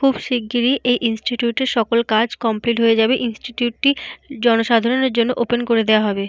খুব শিগগিরই এই ইনস্টিটিউট এর সকল কাজ কমপ্লিট হয়ে যাবে। ইনস্টিটিউট টি জনসাধারের জন্য ওপেন করে দেওয়া হবে।